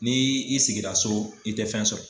Ni i sigira so i tɛ fɛn sɔrɔ.